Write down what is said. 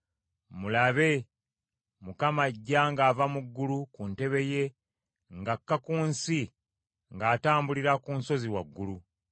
Mulabe, Mukama ajja ng’ava mu ggulu ku ntebe ye ng’akka ku nsi ng’atambulira ku nsozi waggulu.